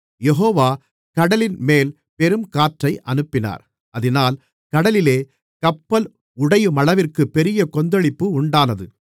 யெகோவா கடலின்மேல் பெருங்காற்றை அனுப்பினார் அதினால் கடலிலே கப்பல் உடையுமளவிற்கு பெரிய கொந்தளிப்பு உண்டானது